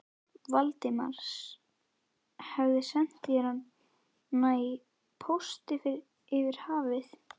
Valdimars, hefði sent sér hana í pósti yfir hafið.